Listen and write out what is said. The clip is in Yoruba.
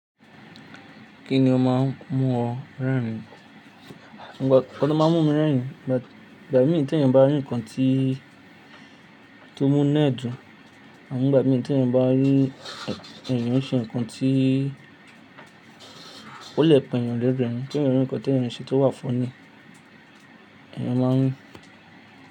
Kí ni o máa ń mú ọ rẹ́rìn-ín? Nkan to máa ń mú mi rẹ́rìn-ín, ìgbà mí i tí ẹeyan bá rí nǹkan tí, tó mú nu ẹ̀ dùn, àmọn ngbà mí i tí ẹeyan bá rí ẹ̀eyán ń ṣe nǹkan tí o le p'èèyàn lẹ́rin, tí ẹeyan rí nǹkan tí èèyàn ṣe tó wà funny, èèyàn máa ń.